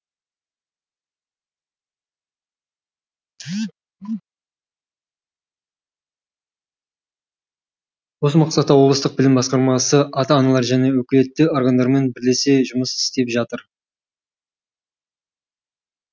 осы мақсатта облыстық білім басқармасы ата аналар және өкілетті органдармен бірлесе жұмыс істеп жатыр